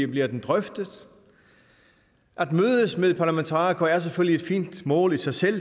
bliver den drøftet at mødes med parlamentarikere er selvfølgelig et fint mål i sig selv